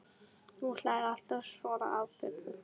Hún hlær alltaf að svona atburðum.